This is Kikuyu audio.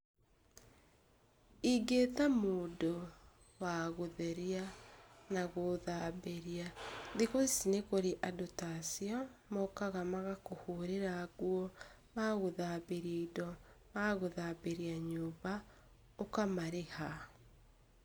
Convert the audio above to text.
Ingĩta mũndũ wagũtheria na gũthambiria. Thikũ ici nĩ kũrĩ andũ ta acio, mokaga magakũhũrĩra nguo, magagũthambĩria indo, magagũthambĩria nyũmba, ũkamarĩha.